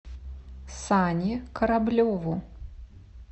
сане кораблеву